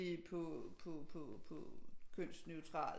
På kønsneutralt